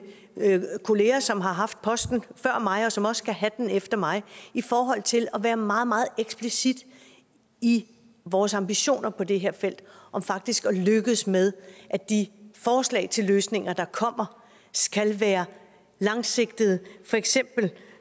kolleger som har haft posten før mig og som også skal have den efter mig i forhold til at være meget meget eksplicit i vores ambitioner på det her felt om faktisk at lykkes med at de forslag til løsninger der kommer skal være langsigtede